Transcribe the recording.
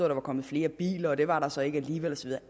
der var kommet flere biler og det var der så ikke alligevel og så